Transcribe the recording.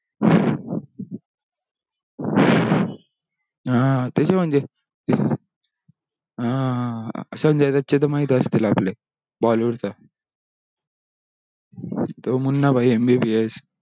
हा हा ते भी म्हणजे आह संजय दत्त चे माहिती असतील आपले तो bollywood चा तो मुन्ना भाई mbbs